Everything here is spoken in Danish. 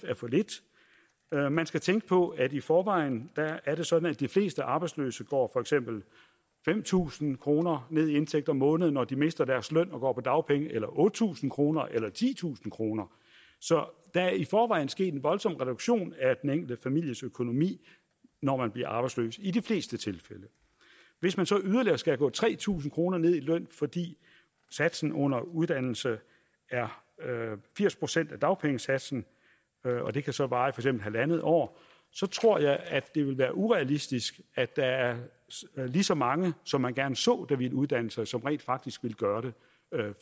er for lidt man skal tænke på at i forvejen er det sådan at de fleste arbejdsløse går for eksempel fem tusind kroner ned i indtægt om måneden når de mister deres løn og går på dagpenge eller otte tusind kroner eller titusind kroner så der er i forvejen sket en voldsom reduktion af den enkelte families økonomi når man bliver arbejdsløs i de fleste tilfælde hvis man så yderligere skal gå tre tusind kroner ned i løn fordi satsen under uddannelse er firs procent af dagpengesatsen og det kan så vare i halvandet år så tror jeg at det vil være urealistisk at der er lige så mange som man gerne så der ville uddanne sig som rent faktisk ville gøre det